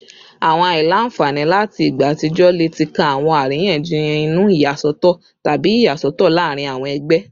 Awọn aila-nfani lati igba atijọ le ti kan awọn ariyanjiyan inu, iyasọtọ, tabi iyasọtọ laarin awọn ẹgbẹ